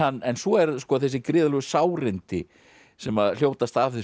en svo er þessi gríðarlegu sárindi sem hljótast af þessu